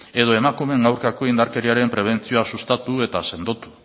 edo emakumeen aurkako indarkeriaren prebentzioa sustatu eta sendotu